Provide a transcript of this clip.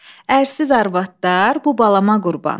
Ərsiz arvadlar, bu balama qurban.